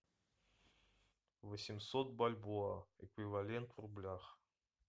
восемьсот бальбоа эквивалент в рублях